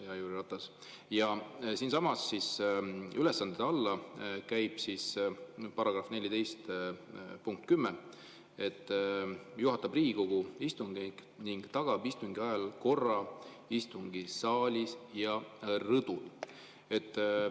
Ja ülesannete § 14 punkt 10, et esimees juhatab Riigikogu istungeid ning tagab istungi ajal korra istungisaalis ja rõdul.